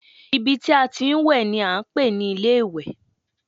Ibi tí a ti ń wẹ̀ ni a ń pè ní ilé ìwẹ̀